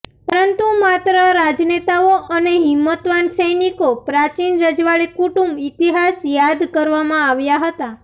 પરંતુ માત્ર રાજનેતાઓ અને હિંમતવાન સૈનિકો પ્રાચીન રજવાડી કુટુંબ ઇતિહાસ યાદ કરવામાં આવ્યા હતા